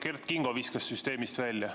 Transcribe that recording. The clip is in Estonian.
Kert Kingol viskas süsteemist välja.